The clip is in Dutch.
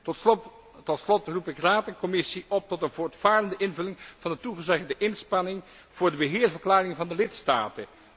Tot slot roep ik Raad en Commissie op tot een voortvarende invulling van de toegezegde inspanning voor de beheerverklaring van de lidstaten.